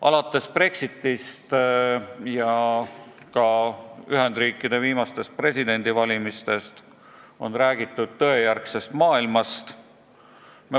Alates Brexitist ja ka Ühendriikide viimasest presidendivalimisest on räägitud tõejärgsest maailmast.